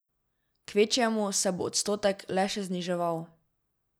Kvečjemu se bo odstotek le še zniževal.